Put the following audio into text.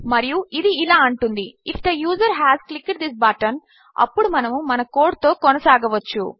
మరియుఇదిఇలాఅంటుంది if the user has clicked this button అప్పుడుమనముమనకోడ్తోకొనసాగవచ్చు